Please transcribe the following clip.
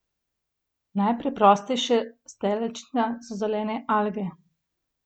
Najpreprostejše steljčnice so zelene alge.